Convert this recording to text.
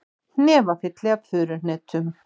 Hnefafylli af furuhnetum